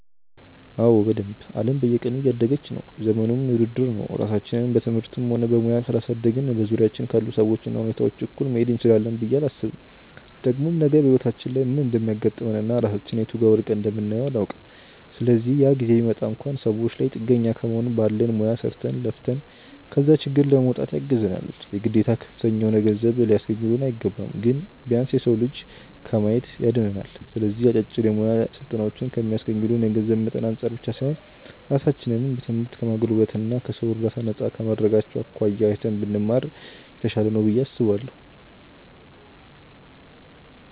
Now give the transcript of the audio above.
አዎ በደንብ። አለም በየቀኑ እያደገች ነው፤ ዘመኑም የውድድር ነው። ራሳችንን በትምህርትም ሆነ በሙያ ካላሳደግን በዙሪያችን ካሉ ሰዎች እና ሁኔታዎች እኩል መሄድ እንችላለን ብዬ አላስብም። ደግሞም ነገ በህይወታችን ላይ ምን እንደሚያጋጥመን እና ራሳችንን የቱ ጋር ወድቀን እንደምናየው አናውቅም። ስለዚህ ያ ጊዜ ቢመጣ እንኳን ሰዎች ላይ ጥገኛ ከመሆን ባለን ሙያ ሰርተን፣ ለፍተን ከዛ ችግር ለመውጣት ያግዘናል። የግዴታ ከፍተኛ የሆነ ገንዘብ ሊያስገኙልን አይገባም። ግን ቢያንስ የሰው እጅ ከማየት ያድነናል። ስለዚህ አጫጭር የሙያ ስልጠናዎችን ከሚስገኙልን የገንዘብ መጠን አንፃር ብቻ ሳይሆን ራሳችንን በትምህርት ከማጎልበት እና ከሰው እርዳታ ነፃ ከማድረጋቸው አኳያ አይተን ብንማር (ብንወስድ) የተሻለ ነው ብዬ አስባለሁ።